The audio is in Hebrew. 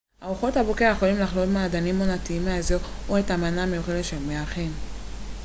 ארוחת הבוקר יכולה לכלול מעדנים עונתיים מהאזור או את המנה המיוחדת של המארחים